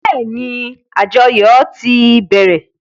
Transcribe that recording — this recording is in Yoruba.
Bẹ́ẹ́ni, àjọyò ti bẹ̀rẹ̀.